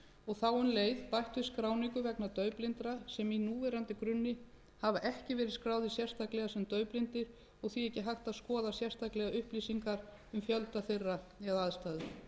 og þá um leið bætt við skráningu vegna daufblindra sem í núverandi grunni hafa ekki verið skráðir sérstaklega sem daufblindir og því ekki hægt að skoða sérstaklega upplýsingar um fjölda þeirra eða aðstæður